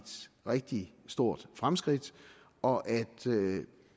rigtig stort fremskridt og at